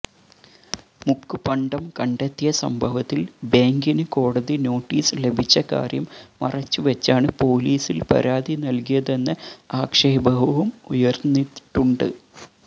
മുക്കുപണ്ടം കണ്ടെത്തിയ സംഭവത്തില് ബേങ്കിന് കോടതി നോട്ടീസ് ലഭിച്ച കാര്യം മറച്ചുവെച്ചാണ് പോലീസില് പരാതി നല്കിയതെന്ന ആക്ഷേപവും ഉയര്ന്നിട്ടുണ്ട്